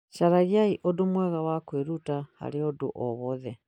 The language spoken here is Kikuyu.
Caragia ũndũ mwega wa kwĩruta harĩ ũndũ o wothe